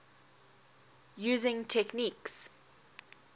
using techniques